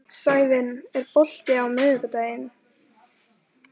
Sævin, er bolti á miðvikudaginn?